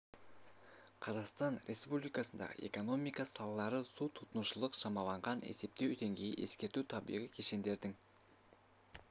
қазақстан республикасындағы экономика салалары су тұтынушылық шамаланған есептеу деңгейі ескерту табиғи кешендердің